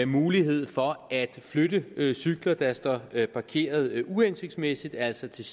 mulighed for at flytte cykler der står parkeret uhensigtsmæssigt altså til